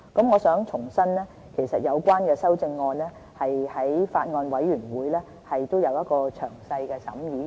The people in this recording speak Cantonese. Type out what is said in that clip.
我想重申，有關修正案在法案委員會已有詳細審議。